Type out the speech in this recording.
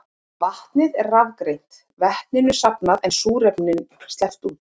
Vatnið er rafgreint, vetninu safnað en súrefni sleppt út.